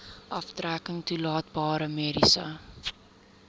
aftrekking toelaatbare mediese